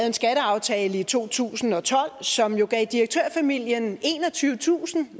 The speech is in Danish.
en skatteaftale i to tusind og tolv som jo gav direktørfamilien enogtyvetusind